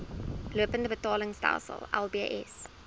lopende betaalstelsel lbs